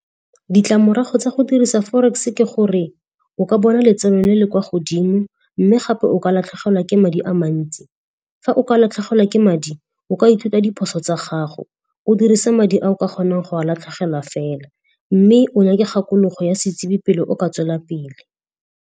Ditlamorago tsa go dirisa forex ke gore o ka bona letseno le le kwa godimo mme gape o ka latlhegelwa ke madi a mantsi. Fa o ka latlhegelwa ke madi, o ka ithuta diphoso tsa gago. O dirisa madi a o ka kgonang go a latlhegelwa fela. Mme o nyake kgakologo ya setsebi pele o ka tswela pele.